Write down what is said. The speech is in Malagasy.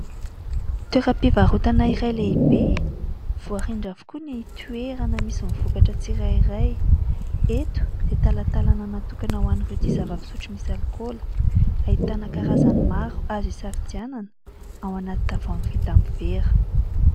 Toeram-pivarotana iray lehibe, voarindra avokoa ny toerana misy ny vokatra tsirairay. Eto dia talantalana natokana ho an'ireto zava-pisotro misy alikaola, ahitana karazany maro azo isafidianana ao anaty tavoahangy vita amin'ny vera.